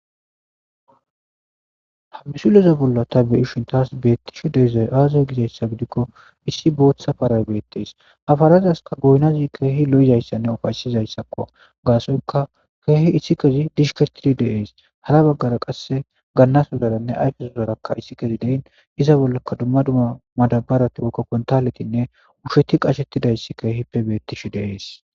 Ha misileza bolla ta be'ishin tas betishe dizay aze gizaysa gidiko issi bootha paray beetes. Ha parazasika goyinazi kehippe loo'esanne uffayisizaysakko. Gasoyika keehi isikezi dhishketidi de'es. Hara bagara qasse ganasodharanne ayifesodharaka isikezi de'in iza bollaka dumma dumma madabarati woykko kuntaletinne usheti qashetidays kehippe beetishe de'es.